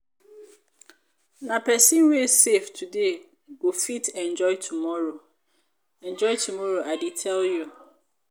nah pesin wey save today go fit enjoy tomorrow enjoy tomorrow i dey tell you.